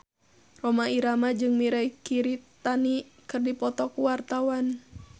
Rhoma Irama jeung Mirei Kiritani keur dipoto ku wartawan